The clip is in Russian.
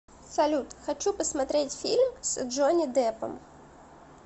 салют хочу посмотреть фильм с джонни депом